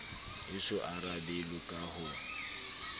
e so arabelwe ka ho